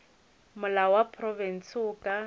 molao wa profense o ka